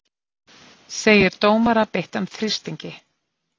Segir dómara beittan þrýstingi